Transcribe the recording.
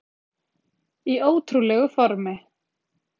Í ótrúlegu formi